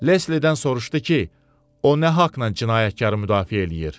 Leslidən soruşdu ki, o nə haqla cinayətkarı müdafiə eləyir.